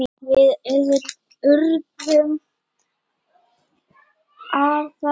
Við urðum afar góðir vinir.